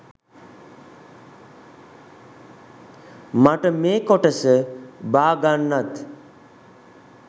මට මේ කොටස බාගන්නත්.